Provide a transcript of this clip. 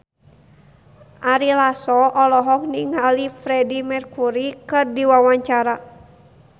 Ari Lasso olohok ningali Freedie Mercury keur diwawancara